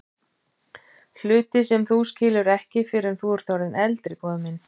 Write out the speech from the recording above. Hluti sem þú skilur ekki fyrr en þú ert orðinn eldri, góði minn.